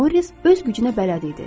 Moris öz gücünə bələd idi.